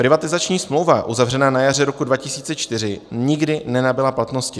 Privatizační smlouva uzavřená na jaře roku 2004 nikdy nenabyla platnosti.